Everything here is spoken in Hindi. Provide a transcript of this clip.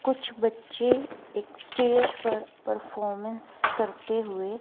कुछ बच्चे एक स्टेज पर परफॉर्मेंस करते हुए --